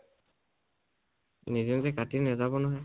নিজে নিজে কাটি নাজাব নহয়।